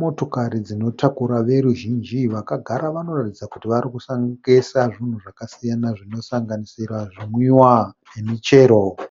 motokari dzinotakura veruzhinji, vagara vanoratidza kuti varikutengesa zvinhu zvakasiyana zvinosanganisira zvimwiwa nemichero.